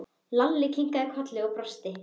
Lalli kinkaði kolli og brosti.